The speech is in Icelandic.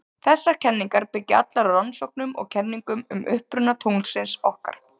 Þessar kenningar byggja allar á rannsóknum og kenningum um uppruna tunglsins okkar.